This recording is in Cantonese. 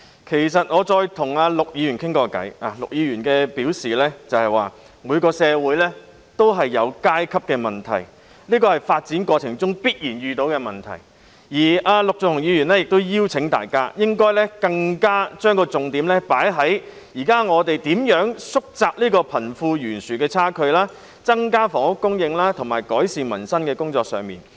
其實，我跟陸議員交談過，陸議員表示，每個社會都有階級問題，這是發展過程中必然出現的問題而陸議員請大家將重點放在我們現在應如何縮窄貧富懸殊的差距，增加房屋供應，以及改善民生的工作上。